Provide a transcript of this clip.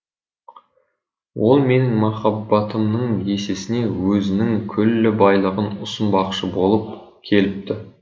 ол менің махаббатымның есесіне өзінің күллі байлығын ұсынбақшы болып келіпті